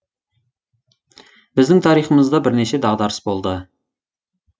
біздің тарихымызда бірнеше дағдарыс болды